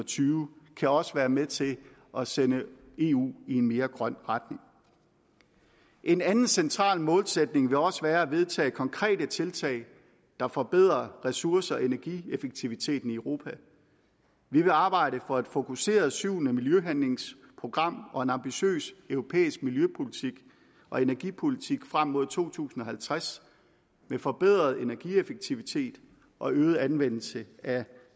tyve kan også være med til at sende eu i en mere grøn retning en anden central målsætning vil også være at vedtage konkrete tiltag der forbedrer ressource og energieffektiviteten i europa vi vil arbejde for et fokuseret syvende miljøhandlingsprogram og en ambitiøs europæisk miljøpolitik og energipolitik frem mod to tusind og halvtreds med forbedret energieffektivitet og øget anvendelse af